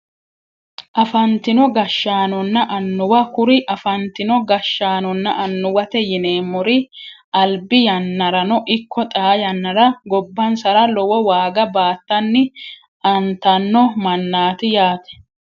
Afantino gashshanonna annuwa kuri afantino gashshaanonna annuwate yineemmori albi yannarano ikko xaa yannara gobbansara lowo waaga baattanni antanno mannaati yaate